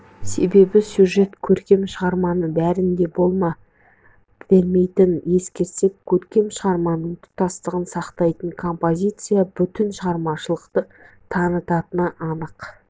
себебі сюжет көркем шығарманың бәрінде болма бермейтінін ескерсек көркем шығарманың тұтастығын сақтайтын композиция бүтін шығармашылықты танытатыны анық